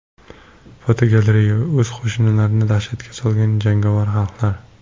Fotogalereya: O‘z qo‘shnilarini dahshatga solgan jangovar xalqlar.